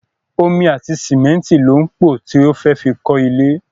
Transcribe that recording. Omi àti sìmẹ́nìtì ló ń pọ to fẹ́ fi kọ ilé.